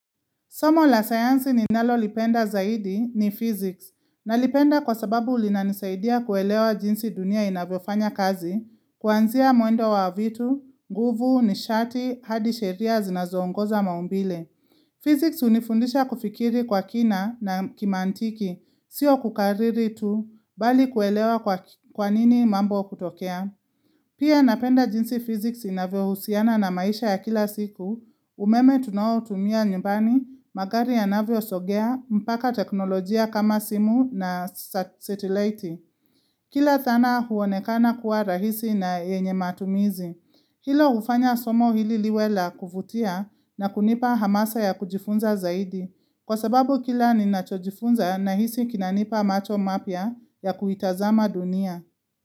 Somo la sayansi ni nalo lipenda zaidi ni physics. Na lipenda kwa sababu ulinanisaidia kuelewa jinsi dunia inavyo fanya kazi, kuanzia mwendo wa vitu, guvu, nishati, hadi sheria, zinazoongoza maumbile. Physics hunifundisha kufikiri kwa kina na kimantiki, siyo kukariri tu, bali kuelewa kwa nini mambo kutokea. Pia napenda jinsi physics inavyo husiana na maisha ya kila siku, umeme tunawo tumia nyumbani, magari anavyo sogea, mpaka teknolojia kama simu na satellite. Kila thana huonekana kuwa rahisi na yenye matumizi. Kilo ufanya somo hili liwe la kuvutia na kunipa hamasa ya kujifunza zaidi. Kwa sababu kila ni nacho jifunza na hisi kinanipa macho mapia ya kuitazama dunia.